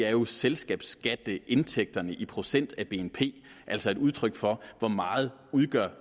er jo selskabsskatteindtægterne i procent af bnp altså et udtryk for hvor meget